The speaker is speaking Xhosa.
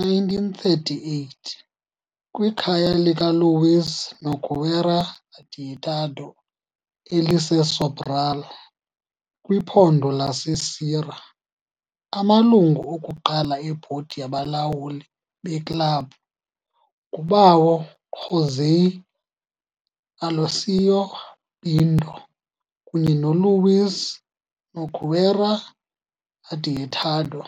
1938, kwikhaya likaLuiz Nogueira Adeodato, eliseSobral, kwiphondo laseCeará. Amalungu okuqala ebhodi yabalawuli beklabhu nguBawo José Aloísio Pinto kunye noLuiz Nogueira Adeodato.